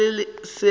ge go na le seo